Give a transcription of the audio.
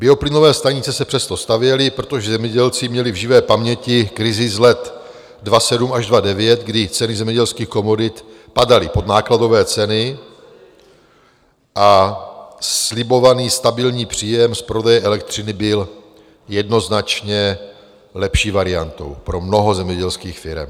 Bioplynové stanice se přesto stavěly, protože zemědělci měli v živé paměti krizi z let 2007 až 2009, kdy ceny zemědělských komodit padaly pod nákladové ceny a slibovaný stabilní příjem z prodeje elektřiny byl jednoznačně lepší variantou pro mnoho zemědělských firem.